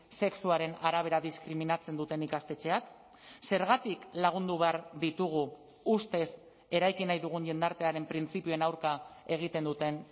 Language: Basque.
sexuaren arabera diskriminatzen duten ikastetxeak zergatik lagundu behar ditugu ustez eraiki nahi dugun jendartearen printzipioen aurka egiten duten